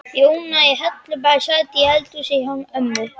Jóna í Hellubæ sat í eldhúsinu hjá ömmu.